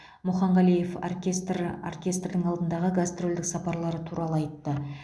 мұханғалиев оркестрі оркестрдің алдағы гастрольдік сапарлары туралы айтты